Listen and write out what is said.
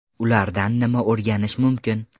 Ulardan nima o‘rganish mumkin?